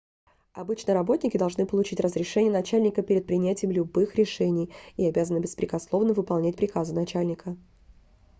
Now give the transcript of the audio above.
обычно работники должны получить разрешение начальника перед принятием любых решений и обязаны беспрекословно выполнять приказы начальника